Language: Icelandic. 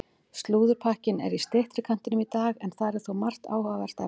Slúðurpakkinn er í styttri kantinum í dag en þar er þó margt áhugavert efni.